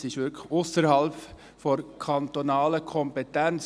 Dieser liegt ausserhalb der kantonalen Kompetenz.